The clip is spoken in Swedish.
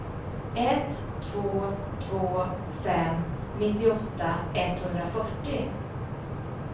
ett två två fem nittioåtta etthundrafyrtio